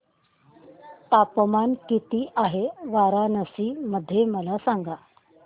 तापमान किती आहे वाराणसी मध्ये मला सांगा